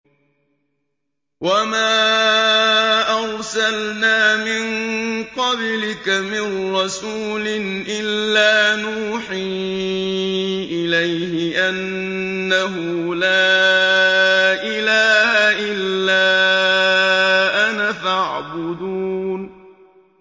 وَمَا أَرْسَلْنَا مِن قَبْلِكَ مِن رَّسُولٍ إِلَّا نُوحِي إِلَيْهِ أَنَّهُ لَا إِلَٰهَ إِلَّا أَنَا فَاعْبُدُونِ